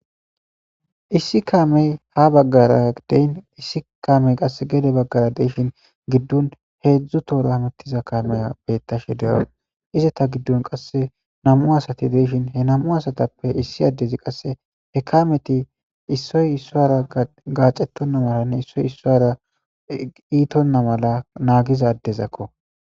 issi kamey ha baggara deyn issi kamey qasse gede baggara deishin giddun heedzdzu toora hamittiza kameya bettashe dero ize ta giddun qasse namu asati deishin he namu asatappe issi addezi qasse he kameti issoy issoara gaacetonna malanne issoy issoara iitonna mala naagiza dezakko